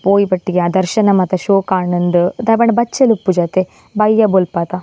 ಪೋಯಿ ಪೆಟ್ತಿಗೆ ಆ ದರ್ಶನ ಮಾತ ಶೋಕಾಂಡ್ ಇಂದ್ ದಾಯೆ ಪಂಡ ಬಚ್ಚೆಲ್ ಇಪ್ಪುಜತೆ ಬಯ್ಯ ಬೊಲ್ಪದ.